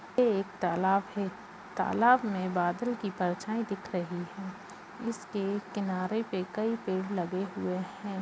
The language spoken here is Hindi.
ये एक तालाब है तालाब में बादल की परछाई दिख रही है इसके किनारे पे कई पेड़ लगे हुए हैं।